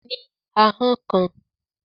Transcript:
Mo ní ahọ́n kan